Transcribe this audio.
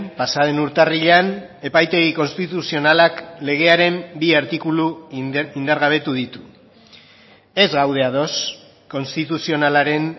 pasa den urtarrilean epaitegi konstituzionalak legearen bi artikulu indargabetu ditu ez gaude ados konstituzionalaren